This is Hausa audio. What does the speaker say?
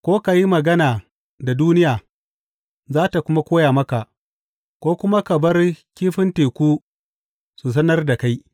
Ko ka yi magana da duniya, za tă kuma koya maka, ko kuma ka bar kifin teku su sanar da kai.